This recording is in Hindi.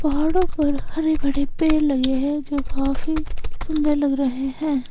पहाड़ों पर हरे भरे पेड़ लगे हैं जो काफी सुंदर लग रहे है।